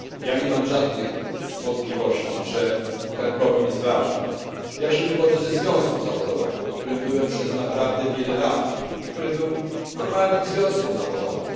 Nie mam żadnych wątpliwości, że także problem sprawiedliwości jest ważny. Sam wywodzę się ze związku zawodowego, w którym byłem przez naprawdę wiele lat i który był normalnym związkiem zawodowym.